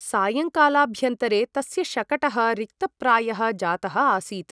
सायङ्कालाभ्यन्तरे तस्य शकटः रिक्तप्रायः जातः आसीत् ।